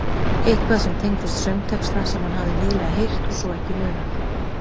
Eitthvað sem tengdist söngtexta sem hann hafði nýlega heyrt og svo ekki munað.